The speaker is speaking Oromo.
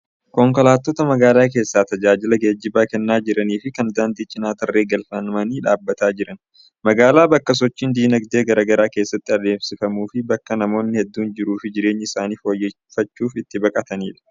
Konkolaattota magaala keessaa tajaajila geejjibaa kennaa jiranii fi kan daandii cinaa tarree galfamanii dhaabbataa jiran. Magaalaan bakka sochiin dinagdee garaa garaa keessatti adeemsifamuu fi bakka namoonni hedduun jiruuf jireenya isaanii fooyyeffachuuf itti baqatanidha.